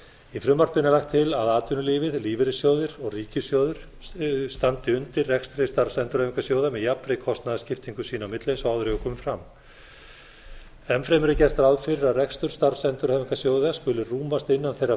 í frumvarpinu er lagt til að atvinnulífið lífeyrissjóðir og ríkissjóður standi undir rekstri starfsendurhæfingarsjóða með jafnri kostnaðarskiptingu sín á milli eins og áður hefur komið fram enn fremur er gert ráð fyrir að rekstur starfsendurhæfingarsjóða skuli rúmast innan þeirra